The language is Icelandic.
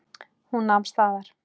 Hún nam staðar.